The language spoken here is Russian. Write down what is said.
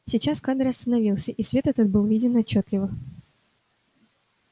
сейчас кадр остановился и свет этот был виден отчётливо